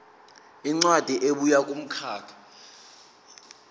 incwadi ebuya kumkhakha